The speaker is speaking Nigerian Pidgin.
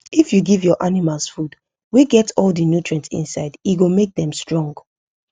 if u give ur animals food wa get all the nutrient inside e go make them stronge